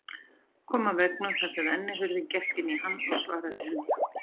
Kom að veggnum þar sem rennihurðin gekk inn í hann og svaraði henni